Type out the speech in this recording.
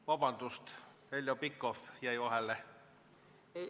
Vabandust, Heljo Pikhof jäi vahele!